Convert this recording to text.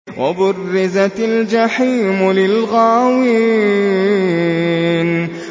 وَبُرِّزَتِ الْجَحِيمُ لِلْغَاوِينَ